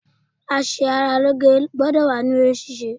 A ṣe ara lóge gbọ́dọ̀ wà níbí eré ṣíṣe.